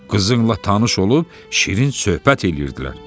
Qızınla tanış olub şirin söhbət eləyirdilər."